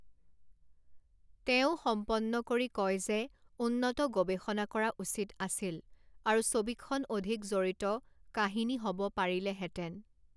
তেওঁ সম্পন্ন কৰি কয় যে উন্নত গৱেষণা কৰা উচিত আছিল আৰু ছবিখন অধিক জড়িত কাহিনী হ'ব পাৰিলেহেঁতেন।